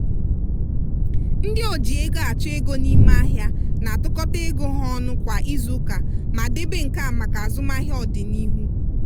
ndị oji ego achọ ego n'ime ahịa na-atụkọta ego ha ọnụ kwa izuuka ma debe nke a maka azụmahịa ọdịnihu.